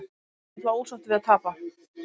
Ég er náttúrulega ósáttur við að tapa.